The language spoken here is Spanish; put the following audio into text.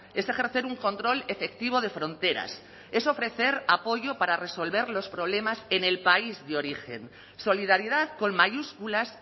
es ejercer un control efectivo de fronteras es ofrecer apoyo para resolver los problemas en el país de origen solidaridad con mayúsculas